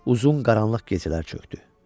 Uzun qaranlıq gecələr çökdü.